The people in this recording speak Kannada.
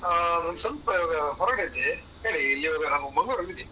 ಆ ಒಂದು ಸ್ವಲ್ಪ ಹೊರಗದ್ದೇ ಹೇಳಿ ಇಲ್ಲಿ ಮಂಗಳೂರಲ್ಲಿ ಇದಿನಿ.